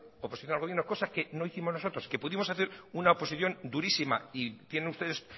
oposición al gobierno cosa que no hicimos nosotros que pudimos hacer una oposición durísima y tienen ustedes